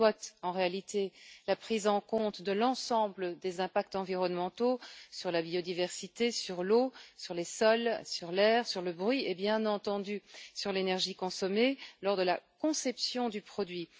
Il s'agit de la prise en compte de l'ensemble des impacts environnementaux sur la biodiversité, sur l'eau, sur les sols, sur l'air, sur le bruit et, bien entendu, sur l'énergie consommée lors de la conception du produit.